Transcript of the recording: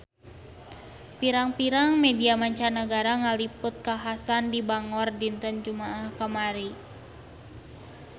Pirang-pirang media mancanagara ngaliput kakhasan di Bangor dinten Jumaah kamari